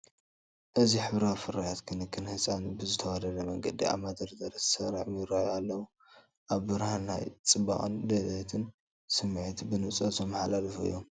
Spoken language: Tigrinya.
እዚ ሕብራዊ ፍርያት ክንክን ህጻናት ብዝተዋደደ መንገዲ ኣብ መደርደሪ ተሰሪዖም ይራኣዩ ኣለዉ። ኣብ ብርሃን ናይ ጽባቐን ጽሬትን ስምዒት ብንጹር ዘመሓላልፉ እዮም።